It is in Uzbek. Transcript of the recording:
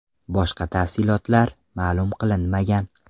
Boshqa tafsilotlar ma’lum qilinmagan.